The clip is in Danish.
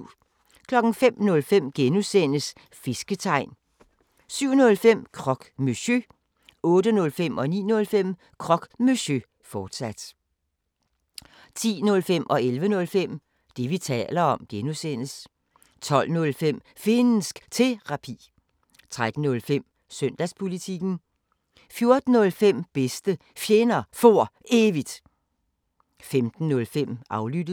05:05: Fisketegn (G) 07:05: Croque Monsieur 08:05: Croque Monsieur, fortsat 09:05: Croque Monsieur, fortsat 10:05: Det, vi taler om (G) 11:05: Det, vi taler om (G) 12:05: Finnsk Terapi 13:05: Søndagspolitikken 14:05: Bedste Fjender For Evigt 15:05: Aflyttet